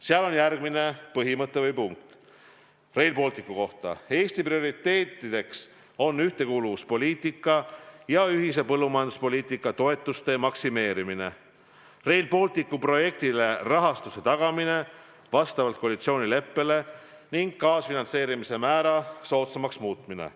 Seal on järgmine punkt Rail Balticu kohta: Eesti prioriteetideks on ühtekuuluvuspoliitika ja ühise põllumajanduspoliitika toetuste maksimeerimine, Rail Balticu projektile rahastuse tagamine vastavalt koalitsioonileppele ning kaasfinantseerimise määra soodsamaks muutmine.